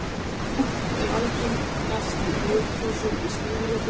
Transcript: Múkk er algengast í reiðhrossum í stífri þjálfun.